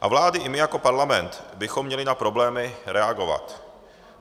A vlády i my jako parlament bychom měli na problémy reagovat.